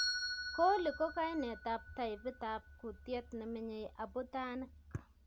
Coli ko kainet ab taipit ab kutiet nemenye abutanik